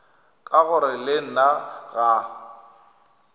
ka gore le nna ga